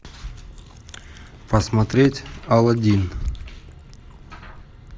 посмотреть алладин